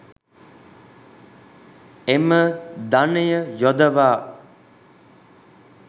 එම ධනය යොදවා